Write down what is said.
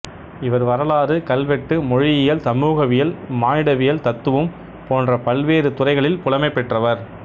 இவர் வரலாறு கல்வெட்டு மொழியியல் சமூகவியல் மானிடவியல் தத்துவம் போன்ற பல்வேறு துறைகளில் புலமை பெற்றவர்